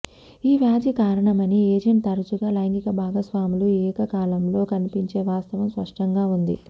ఈ వ్యాధి కారణమని ఏజెంట్ తరచుగా లైంగిక భాగస్వాములు ఏకకాలంలో కనిపించే వాస్తవం స్పష్టంగా ఉంది